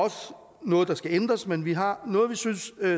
noget der skal ændres men vi har noget vi synes